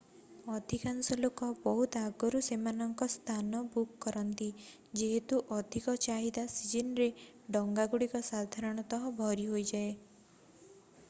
ଅଧିକାଂଶ ଲୋକ ବହୁତ ଆଗରୁ ସେମାନଙ୍କ ସ୍ଥାନ ବୁକ୍ କରନ୍ତି ଯେହେତୁ ଅଧିକ ଚାହିଦା ସିଜନରେ ଡଙ୍ଗାଗୁଡ଼ିକ ସାଧାରଣତଃ ଭରି ହୋଇଯାଏ।